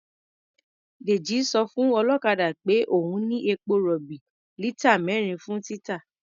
Dèjì sọ fún ọlọ́kadà peh òun ní epo-rọ̀bì lítà mẹ́rin fún títà.